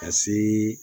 Ka se